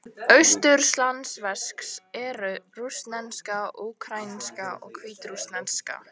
Austurslavnesk eru: rússneska, úkraínska og hvítrússneska.